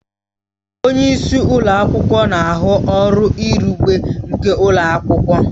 Onye isi ụlọ akwụkwọ na ahụ ọrụ izugbe nke ụlọ akwụkwọ